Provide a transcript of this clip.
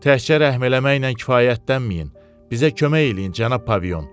Təkcə rəhm eləməklə kifayətlənməyin, bizə kömək eləyin, cənab Paviyon.